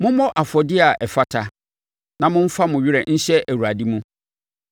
Mommɔ afɔdeɛ a ɛfata na momfa mo werɛ nhyɛ Awurade mu.